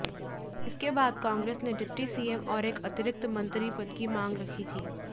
इसके बाद कांग्रेस ने डिप्टी सीएम और एक अतिरिक्त मंत्री पद की मांग रखी थी